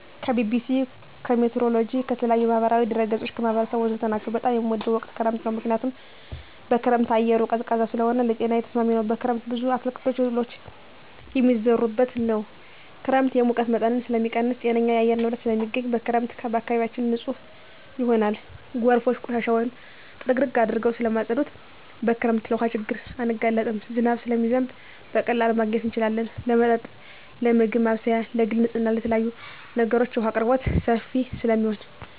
ከቢቢሲ, ከሜትሮሎጅ, ከተለያዪ የማህበራዊ ድረ ገፆች , ከህብረተሰቡ ወዘተ ናቸው። በጣም የምወደው ወቅት ክረምት ነው ምክንያቱም በክረምት አየሩ ቀዝቃዛ ስለሆነ ለጤናዬ ተስማሚ ነው። በክረምት ብዙ አትክልቶች እህሎች የሚዘሩበት ነው። ክረምት የሙቀት መጠንን ስለሚቀንስ ጤነኛ የአየር ንብረት ስለማገኝ። በክረምት አካባቢያችን ንፁህ ይሆናል ጎርፎች ቆሻሻውን ጥርግርግ አድርገው ስለማፀዱት። በክረምት ለውሀ ችግር አንጋለጥም ዝናብ ስለሚዘንብ በቀላሉ ማግኘት እንችላለን ለመጠጥ ለምግብ ማብሰያ ለግል ንፅህና ለተለያዪ ነገሮች የውሀ አቅርቦት ሰፊ ስለሚሆን።